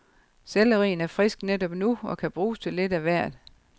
Sellerien er frisk netop nu og kan bruges til lidt af hvert.